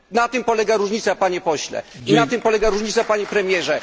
Na tym polega różnica, Panie Pośle, i na tym polega różnica, Panie Premierze.